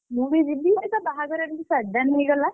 ମୁଁ ବି ଯିବି। ଆରେ ତା ବାହାଘର କଣ ଏମିତି sudden ହେଇଗଲା?